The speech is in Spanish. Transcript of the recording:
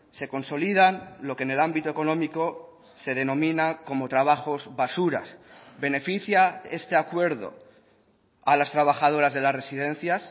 se consolidan lo que en el ámbito económico se denomina como trabajos basuras beneficia este acuerdo a las trabajadoras de las residencias